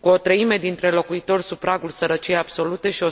Cu o treime dintre locuitori sub pragul sărăciei absolute și o